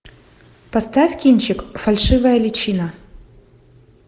поставь кинчик фальшивая личина